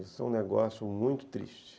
Isso é um negócio muito triste.